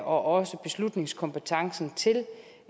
også beslutningskompetencen til